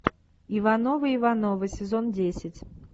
ивановы ивановы сезон десять